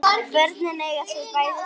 Börnin eiga þau bæði saman